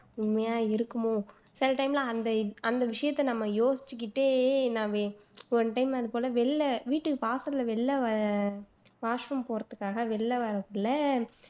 உண்மையா இருக்குமோ சில time லாம் அந்த அந்த விஷயத்தை நம்ம யோசிச்சுக்கிட்டே one time அது போல வெளில வீட்டுக்கு வாசல்ல வெளில வ washroom போறாதுக்காக வெளில வரக்குள்ள